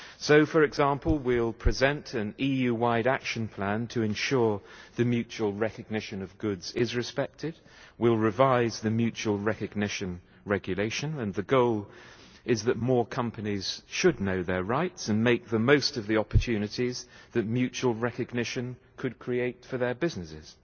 So, for example, we will present an EU-wide action plan to ensure the mutual recognition of goods is respected, we will revise the mutual recognition regulation and the goal is that more companies should know their rights and make the most of the opportunities that mutual recognition could create for their businesses.